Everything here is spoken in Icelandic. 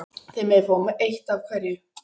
Þið megið fá eitt af hverju sagði hún.